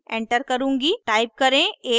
type करें 8 और enter दबाएं